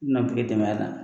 I bɛ na kile tɛmɛ a kan.